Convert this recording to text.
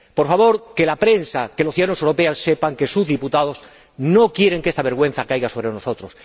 Por favor, que la prensa, que los ciudadanos europeos sepan que sus diputados no quieren que esa vergüenza caiga sobre nosotros.